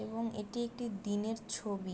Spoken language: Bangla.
এবং এটি একটি দিনের ছবি।